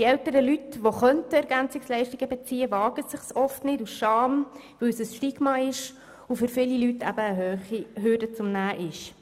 Die älteren Leute, die EL beziehen könnten, wagen sich oft aus Scham nicht, sich anzumelden, weil es ein Stigma und für viele Leute eine hohe Hürde ist.